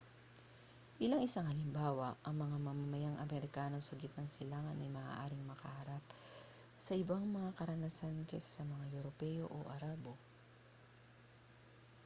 bilang isang halimbawa ang mga mamamayang amerikano sa gitnang silangan ay maaaring maharap sa ibang mga karanasan kaysa mga europeo o arabo